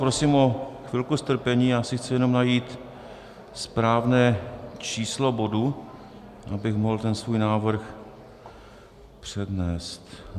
Prosím o chvilku strpení, já si chci jenom najít správné číslo bodu, abych mohl ten svůj návrh přednést.